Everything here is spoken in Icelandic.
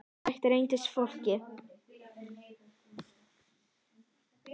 Slíkt gæti líka reynst flókið.